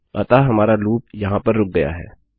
अतः हमारा लूप यहाँ पर रुक गया है